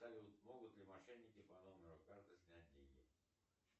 салют могут ли мошенники по номеру карты снять деньги